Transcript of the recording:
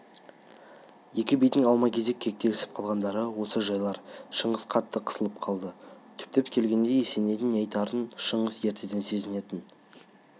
екі бидің алма-кезек кекетісіп қалғандары осы жайлар шыңғыс қатты қысылып қалды түптеп келгенде есенейдің не айтарын шыңғыс ертеден сезінетін